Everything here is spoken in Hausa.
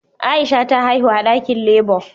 Aisha ta haihu a dakin labour